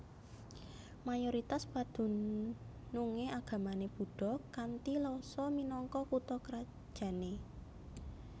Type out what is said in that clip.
Mayoritas padunungé agamané Buddha kanthi Lhasa minangka kutha krajané